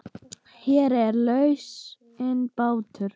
Hér er lausnin bátur.